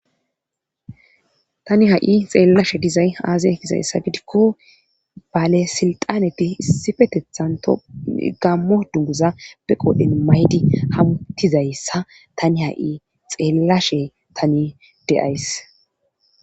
tani ha7i xeellashe dizay aazee gizayssa gidikko baalesilxaneti issifetethan to gammo dunguza be qoodhen maydi hamutizayssa tani ha7i xeellashe tani de7ays